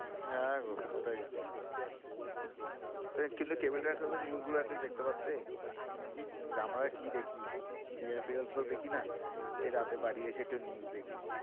হ্যাঁ, গো এটাই কিন্তু cable থাকলে তো news গুলো atleast দেখতে পারতে আমরা কি দেখি? serial ফিরিয়াল তো দেখি না, এই রাতে বাড়ি এসে একটু news দেখি।